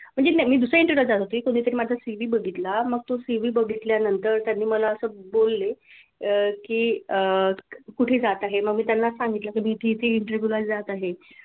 म्हणजे मी दुसरा interview ला जात होती. कोणीतरी माझा cv बघितला तो cv बघितल्यानंतर त्यांनी मला असं बोलले अह की अह कुठे जात आहे मग मी त्यांना सांगितलं की मी इथे इथे interview ला जात आहे.